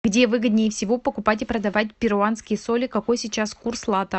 где выгоднее всего покупать и продавать перуанские соли какой сейчас курс лата